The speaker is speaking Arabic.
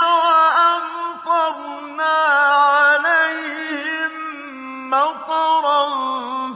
وَأَمْطَرْنَا عَلَيْهِم مَّطَرًا ۖ